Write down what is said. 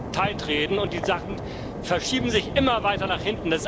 reden und die Sachen verschieben sich immer weiter nach hinten.